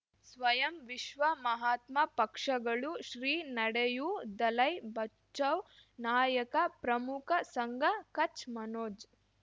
ಸ್ವಯಂ ವಿಶ್ವ ಮಹಾತ್ಮ ಪಕ್ಷಗಳು ಶ್ರೀ ನಡೆಯೂ ದಲೈ ಬಚೌ ನಾಯಕ ಪ್ರಮುಖ ಸಂಘ ಕಚ್ ಮನೋಜ್